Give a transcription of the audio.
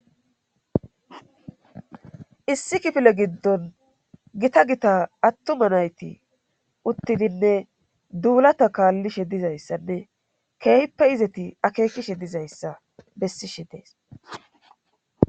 issi kifile giddon gita gita attuma nayti uttidinne duulata kaallishe dizayssanne keehippe izeti akeekishe dizayssa bessishe dees